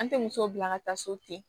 An tɛ muso bila ka taa so ten